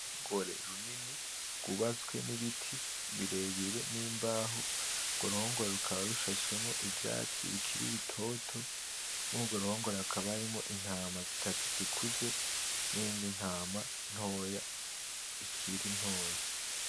Uruhongore runini rwubatse n'ibiti birebire n'imbaho urwo ruhongore rukaba rushashemwo ivyatsi bikiri bitoto murugwo ruhongore hakaba harimwo intama zitatu zikuze nindi ntama ntoya ikiri ntoya.